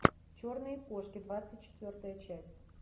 черные кошки двадцать четвертая часть